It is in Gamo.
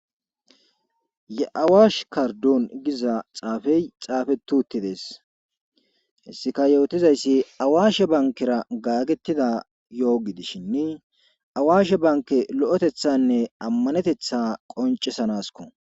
ye7awash kardon giza xaafey xaafetuttidees hessika yootizayssi awaashe bankera gaagetida yo7ogi dishinni awaashe banke lo7etethanne ammanetetha qoncisanasko